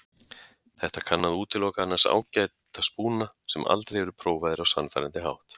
Þetta kann að útiloka annars ágæta spúna sem aldrei eru prófaðir á sannfærandi hátt.